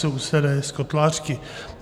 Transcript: Sousedé z Kotlářky.